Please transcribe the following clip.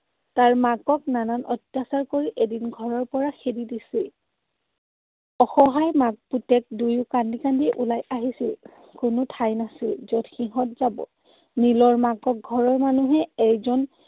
তাৰ মাকক নানান অত্যাচাৰ কৰি এদিন ঘৰৰ পৰা খেদি দিছিল। অসহায় মাক পুতেক দুয়ো কান্দি কান্দি ওলাই আহিছিল। কোনো ঠাই নাছিল, যত সিহঁত যাব। নীলৰ মাকক ঘৰৰ মানুহে এইজন